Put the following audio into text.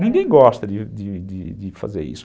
Ninguém gosta de de de de fazer isso.